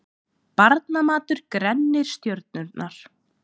Barnamatur grennir stjörnurnar